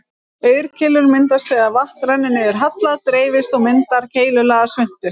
Aurkeilur myndast þegar vatn rennur niður halla, dreifist og myndar keilulaga svuntu.